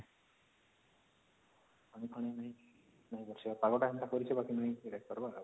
ପାଗ ଟା ସେନ୍ତା କରିଛି ବାକି ନାଇଁ